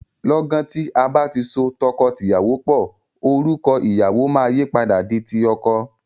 Lọ́gan tí a bá ti so tọkọtìyàwó pò, orúkọ ìyàwọ máa yìí padà di ti ọkọ.